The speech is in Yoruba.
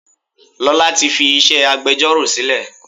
Lola tí fi iṣẹ́ agbẹjoro sílè.